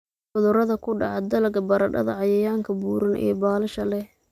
cudurada ku dhaca dalagga baradhada. Cayayaanka buuran ee baalasha leh